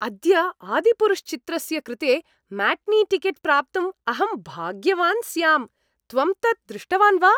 अद्य आदिपुरुष् चित्रस्य कृते म्याटिनीटिकेट् प्राप्तुम् अहं भाग्यवान् स्याम्, त्वं तत् दृष्टवान् वा?